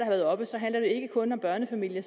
været oppe handler de ikke kun om børnefamilier